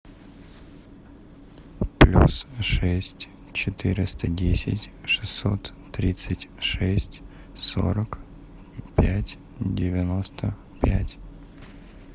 плюс шесть четыреста десять шестьсот тридцать шесть сорок пять девяносто пять